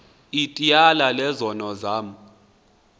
ityala lezono zam